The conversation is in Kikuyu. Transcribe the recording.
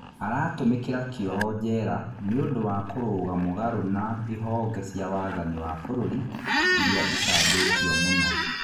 Aratũmĩkĩra kĩoho njera nĩũndũ wa kũrũga mũgarũ na ihonge cia wathani wa bũrũri iria icambĩtio mũno.